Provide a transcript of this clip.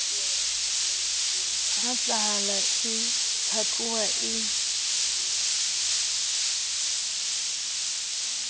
ha hlahala e phatloha e